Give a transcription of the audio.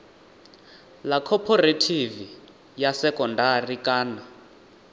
ḽa khophorethivi ya sekondari kana